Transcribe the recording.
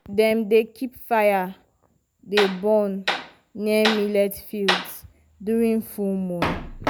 dat boy tap okra stems okra stems and find hollow signs.